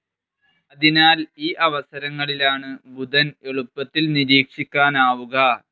അതിനാൽ ഈ അവസരങ്ങളിലാണ് ബുധൻ എളുപ്പത്തിൽ നിരീക്ഷിക്കാനാവുക.